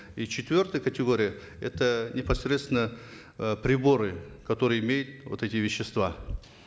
и четвертая категория это непосредственно э приборы которые имеют вот эти вещества